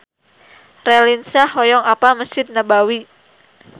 Raline Shah hoyong apal Mesjid Nabawi